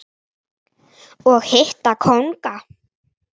og hitta kónga.